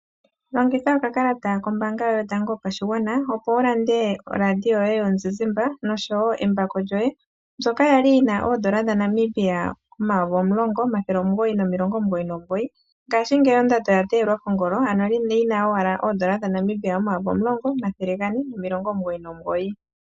Longitha okakalata koye kombaanga yotango yopashigwana opo wulande oRadio yoye yomuzizimba noshowo embako lyoye, mbyoka yali yina oondola dhaNamibia omayovi omulongo omathele omulongo nomilongo omugoyi nomugoyi ngashingeyi ondando oya teyelwa kongolo ano lina owala oondola dha Namibia omayovi omulongo omathele gane nomilongo omugoyi nomugoyi.